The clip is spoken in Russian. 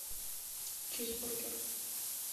чизбургер